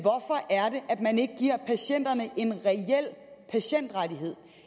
at man ikke giver patienterne en reel patientrettighed